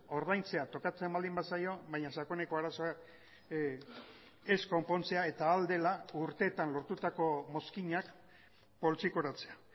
ordaintzea tokatzen baldin bazaio baina sakoneko arazoa ez konpontzea eta ahal dela urteetan lortutako mozkinak poltsikoratzea